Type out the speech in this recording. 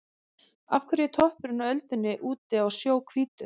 Af hverju er toppurinn á öldunni úti á sjó hvítur?